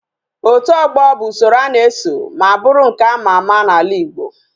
Otu ogbo bu usoro ana eso ma buru nke ama ama na ala igbo